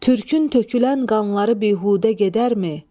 Türkün tökülən qanları bihudə gedərmi?